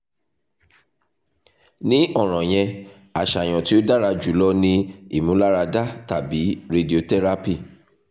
ni ọran yẹn aṣayan ti o dara julọ ni imularada tabi radiotherapy